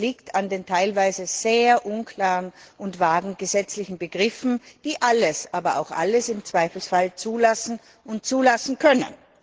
Das liegt an den teilweise sehr unklaren und vagen gesetzlichen Begriffen, die alles, aber auch alles im Zweifelsfall zulassen und zulassen können.